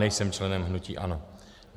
Nejsem členem hnutí ANO.